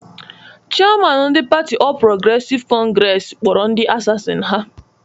Chịaman ndị patị Ọl Progresịv Kọngresi kpọrọ ndị asasin ha